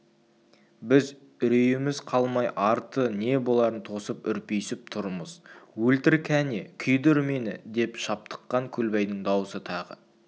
біз үрейіміз қалмай арты не боларын тосып үрпиісіп тұрмыз өлтір кәне күйдір мені деп шаптыққан көлбайдың даусы тағы